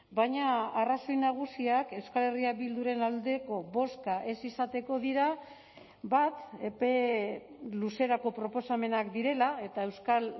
baina arrazoi nagusiak euskal herria bilduren aldeko bozka ez izateko dira bat epe luzerako proposamenak direla eta euskal